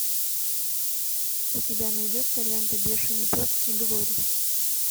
у тебя найдется лента бешеный пес и глори